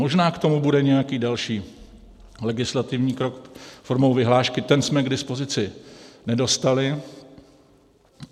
Možná k tomu bude nějaký další legislativní krok formou vyhlášky, ten jsme k dispozici nedostali.